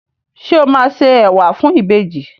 Sọ ma se ẹwà fún ìbejì?